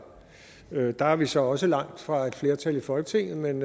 der er vi så også langt fra et flertal i folketinget men